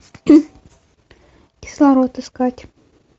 кислород искать